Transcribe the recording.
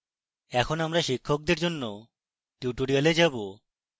এখন আমরা শিক্ষকদের জন্য tutorials যাবো